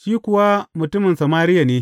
Shi kuwa mutumin Samariya ne.